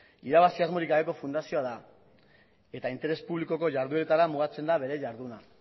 irabazi asmorik gabeko fundazioa da eta interes publikoko ihardueretara mugatzen da bere iharduna